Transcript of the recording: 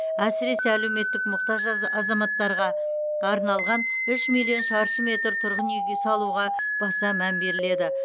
әсіресе әлеуметтік мұқтаж азаматтарға арналған үш миллион шаршы метр тұрғын үй салуға баса мән беріледі